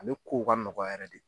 Ale kow ka nɔgɔ yɛrɛ de